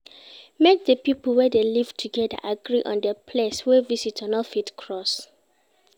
Make di pipo wey de live together agree on di place wey visitor no fit cross